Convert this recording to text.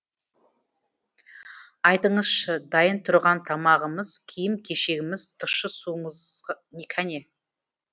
айтыңызшы дайын тұрған тамағымыз киім кешегіміз тұщы суымыз кәне